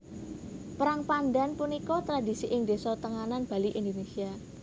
Perang pandhan punika tradhisi ing désa Tenganan Bali Indonesia